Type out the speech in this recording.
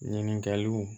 Ɲininkaliw